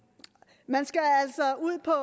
man skal er